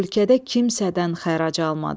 Ölkədə kimsədən xərac almadı.